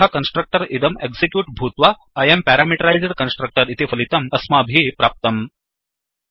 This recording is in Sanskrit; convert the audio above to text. अतः कन्स्ट्रक्टर् इदं एक्सिक्यूट् भूत्वा I अं पैरामीटराइज्ड कन्स्ट्रक्टर इति फलितम् अस्माभिः प्राप्तम्